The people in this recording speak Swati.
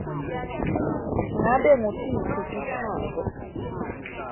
ngabe ngutiphi titsako